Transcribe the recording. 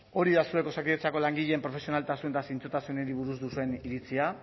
hori da zuek osakidetzako langileen profesionaltasun eta zintzotasunari buruz duen iritzia